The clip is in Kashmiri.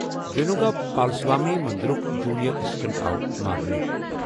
وِنوگا پالسوامی مندرُک جونیئر اسسٹنٹ آو مارنہٕ۔